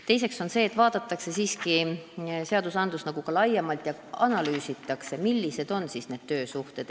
Teiseks vaadatakse kogu seadustikku laiemalt ja analüüsitakse, millised ikkagi need töösuhted on.